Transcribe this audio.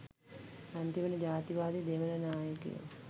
අන්තිමට ජාතිවාදි දෙමළ නායකයෝ